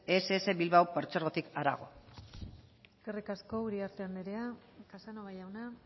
ess bilbao partzuergotik harago eskerrik asko uriarte andrea casanova jauna